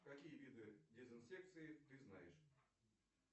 какие виды дезинсекции ты знаешь